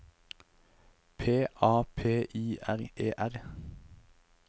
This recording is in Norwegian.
P A P I R E R